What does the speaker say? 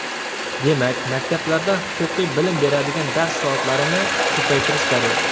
Demak, maktablarda huquqiy bilim beradigan dars soatlarini ko‘paytirish zarur.